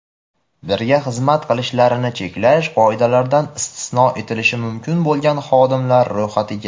birga xizmat qilishlarini cheklash qoidalaridan istisno etilishi mumkin bo‘lgan xodimlari Ro‘yxatiga:.